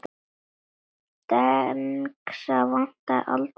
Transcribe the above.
Dengsa vantaði aldrei hönd.